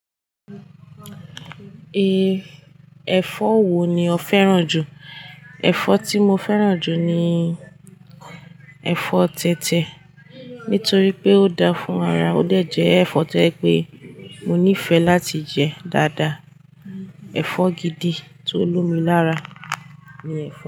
Ẹ̀fọ́ wo ni o fẹ́ràn ju? Ẹ̀fọ́ tí mo fẹ́ràn ju ni ẹ̀fọ́ tẹ̀tẹ̀ nítorí pé ó dáa fún ara ó dẹ̀ ẹ̀fọ́ tó jẹ́ pé mo nífẹ̀ la ti jẹ daada ẹ̀fọ́ gidi tó lómi lára.